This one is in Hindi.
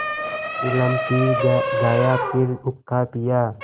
चिलम पी गाया फिर हुक्का पिया